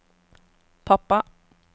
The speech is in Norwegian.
pappa